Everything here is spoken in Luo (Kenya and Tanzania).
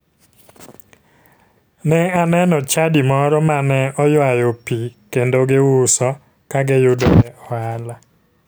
Ne aneno chadi moro ma ne oywayo pii kendo giuso ka kiyudoe ohala.